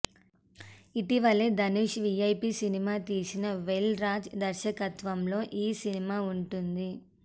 ఇటీవలే ధనుష్ తో VIP cinema తీసిన వేల్ రాజ్ దర్శకత్వంలో ఈ సినిమా వుంటుంది